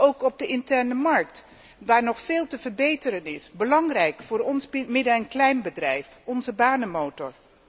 En ook op de interne markt, waar nog veel te verbeteren is. Dat is belangrijk voor ons midden en kleinbedrijf, onze banenmotor.